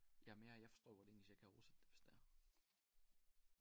Jamen jeg jeg forstår godt engelsk jeg kan oversætte det hvis det er